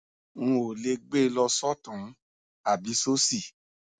n ò lè gbé e lọ sọtún ún àbí sósì